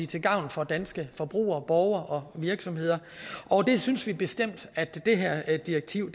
til gavn for danske forbrugere borgere og virksomheder og det synes vi bestemt at det her direktiv